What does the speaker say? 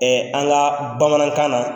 an ka bamanankan na